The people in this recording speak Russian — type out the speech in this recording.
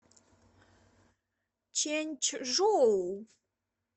чэньчжоу